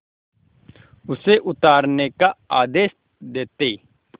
उसे उतारने का आदेश देते